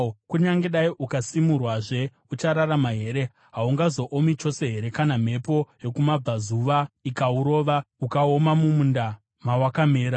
Kunyange dai ukasimwazve, uchararama here? Haungazoomi chose here kana mhepo yokumabvazuva ikaurova, ukaoma mumunda mawakamera?’ ”